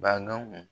Badɔn